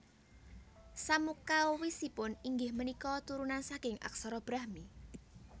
Samukawisipun inggih punika turunan saking aksara Brahmi